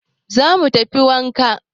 Za mu tafi wanka